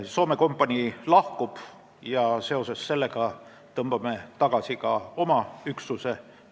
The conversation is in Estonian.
Soome kompanii lahkub sealt ja seoses sellega tõmbame Lõuna-Liibanonist tagasi ka oma üksuse.